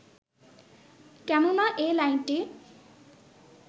কেননা এ লাইনটি